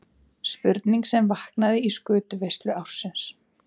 Spurning sem vaknaði í skötuveislu ársins.